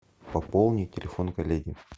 пополни телефон коллеги